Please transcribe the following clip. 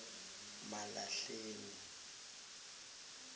malahleni